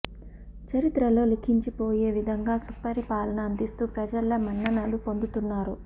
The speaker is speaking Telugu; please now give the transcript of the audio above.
చరిత్రలో లిఖించి పోయే విధంగా సుపరి పాలన అందిస్తూ ప్రజల మన్ననలు పొందుతున్నారు